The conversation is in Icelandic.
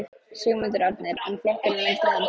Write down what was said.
Sigmundur Ernir: En flokkurinn, myndi hann klofna?